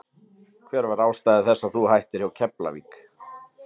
Hver var ástæða þess að þú hættir hjá Keflavík?